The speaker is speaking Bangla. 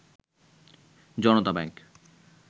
জনতা ব্যাংক